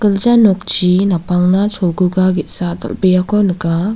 gilja nokchi napangna cholguga ge·sa dal·beako nika.